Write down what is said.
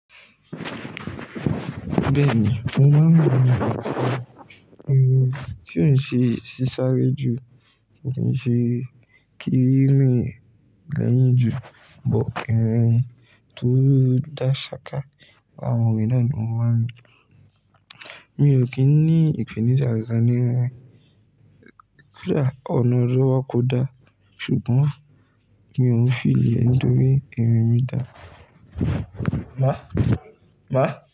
Bẹ́ẹ̀ ni, mo máa ń mú irun mi sọ́kọ̀. Irun tí ò ṣe sáré jù ni ṣe kiri mi lẹ́yìn jù, bọ̀kì wọn tó dá ṣáká. Àwọn irun náà ni mo máa ń mú. Mi ò kí ń ní ìpènìjà ara ní wọn rà, ọ̀nà ríwọ́ kò da, ṣùgbọ́n mi ò ń fi ìlẹ̀ ẹ́ nítorí irun mi dá. Máa, máa.